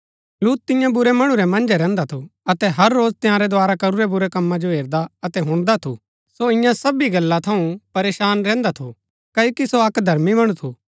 लूत तिन्या बुरै मणु रै मन्जै रैहन्दा थू अतै हर रोज तंयारै द्धारा करूरै बुरै कमा जो हेरदा अतै हुणदा थू सो इन्या सबी गल्ला थऊँ परेशान रैहन्दा थू क्ओकि सो अक्क धर्मी मणु थू